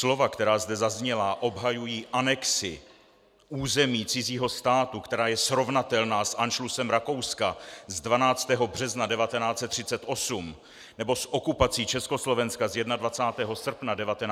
Slova, která zde zazněla, obhajují anexi území cizího státu, která je srovnatelná s anšlusem Rakouska z 12. března 1938, nebo s okupací Československa z 21. srpna 1968, jsou prostě nepřijatelná.